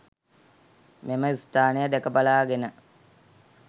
මෙම ස්ථානය දැකබලාගෙන